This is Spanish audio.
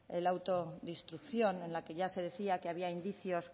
el auto de instrucción en el que ya se decía que había indicios